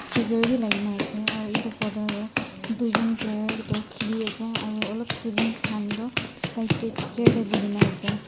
speaker bi laki na ase aro edu photo tae tuijon player toh khiliase aro olop students kahn toh side tae chair tae buhina ase.